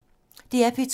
DR P2